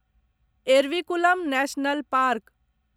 Eravikulam national park